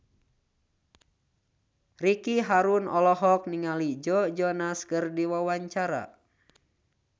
Ricky Harun olohok ningali Joe Jonas keur diwawancara